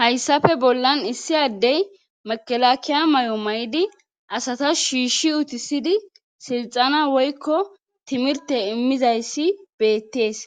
hayssafe bollan issi addey makelakiya may7o may7di asata shiishi utisidi silxana woykko timirte immizayssi beettees